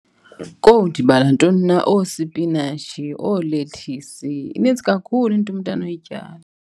Kowu, ndibala ntoni na? Oosipinatshi, oolethisi. Inintsi kakhulu into umntu anoyityala.